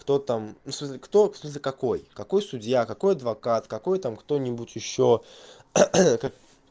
кто там ну в смысле кто в смысле какой какой судья какой адвокат какой там кто-нибудь ещё